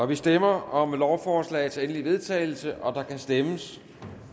vi stemmer om lovforslagets endelige vedtagelse og der kan stemmes